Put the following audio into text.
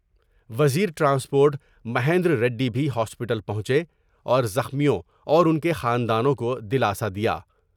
وزیر ٹرانسپورٹ مہیند ریڈی بھی ہاسپٹل پہنچے اور زخمیوں اور ان کے خاندانوں کو دلاسہ دیا ۔